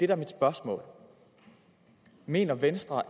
er mit spørgsmål mener venstre og